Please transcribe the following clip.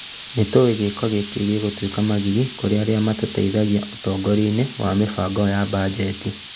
Nĩtũĩ gĩko gĩkĩ gĩgũtuĩka magigi kũrĩ arĩa matũteithagia ũtongoria-inĩ na mĩbango ya mbanjeti